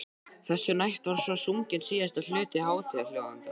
Þessu næst var svo sunginn síðasti hluti hátíðaljóðanna.